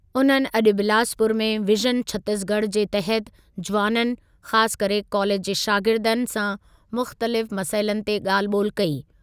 उन्हनि अॼु बिलासपुर में विजन छतीसगढ़ जे तहति जुवाननि, ख़ासि करे कालेज जे शागिर्दनि, सां मुख़्तलिफ़ मसइलनि ते ॻाल्हि ॿोलि कई।